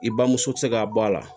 I bamuso te se ka bɔ a la